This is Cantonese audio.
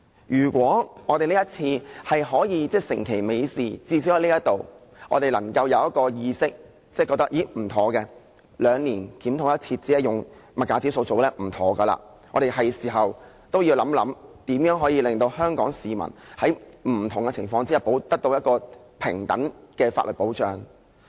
如果我們這次可以成其美事，至少在這裏，我們有這意識，認為兩年檢討一次，只是用消費物價指數來進行是不對的，是時候要想一想，如何令香港市民在不同情況下，得到平等的法律保障。